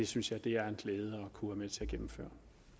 synes jeg er en glæde at kunne være med til at gennemføre